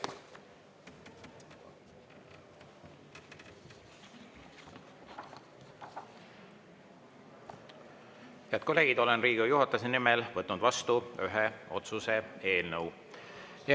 Head kolleegid, olen Riigikogu juhatuse nimel võtnud vastu ühe otsuse eelnõu.